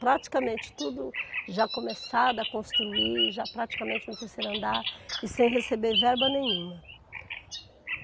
Praticamente tudo já começado a construir, já praticamente no terceiro andar e sem receber verba nenhuma.